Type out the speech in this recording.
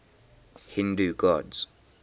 hindu gods